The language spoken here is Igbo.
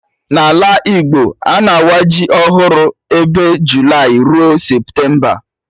Na Ala Igbo, a na-awa ji ọhụrụ ebe Julayị rue Septemba